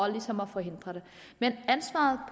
ligesom at forhindre det men ansvaret